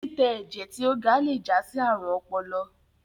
titẹ ẹjẹ ti o ga le já sí àrùn ọpọlọ